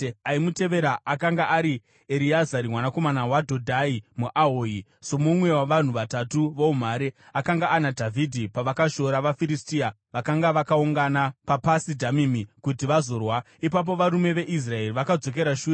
Aimutevera akanga ari Ereazari, mwanakomana waDhodhai muAhohi. Somumwe wavarume vatatu voumhare, akanga ana Dhavhidhi pavakashora vaFiristia vakanga vakaungana paPasi Dhamimi kuti vazorwa. Ipapo varume veIsraeri vakadzokera shure,